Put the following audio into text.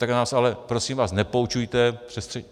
Tak nás ale prosím vás nepoučujte